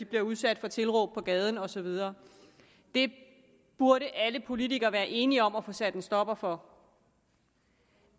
blive udsat for tilråb på gaden og så videre det burde alle politikere være enige om at få sat en stopper for